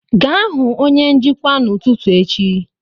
Gaa hụ onye njikwa n'ụtụtụ echi